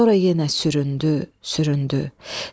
Sonra yenə süründü, süründü.